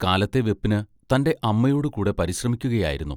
കാലത്തെ വെപ്പിന് തന്റെ അമ്മയോടു കൂടെ പരിശ്രമിക്കുയായിരുന്നു.